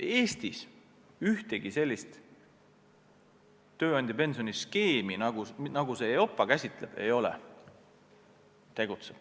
Eestis ühtegi sellist tööandjapensioni skeemi, nagu neid EIOPA käsitleb, ei ole.